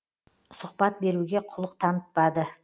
сұқбат беруге құлық танытпады